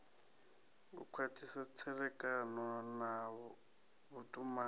u khwathisa tserekano na vhutumani